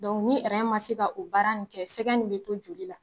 ni ma se ka o baara nin kɛ sɛgɛ nin bɛ to joli la